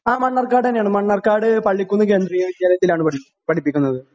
ആ മണ്ണാർക്കാടന്നെയാണ് മണ്ണാർക്കാട് പള്ളിക്കുന്ന് കേന്ദ്രീയ വിദ്യാലയത്തിലാണ് പഠി പഠിപ്പിക്കുന്നത്.